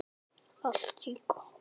En hvaða fólk var þetta?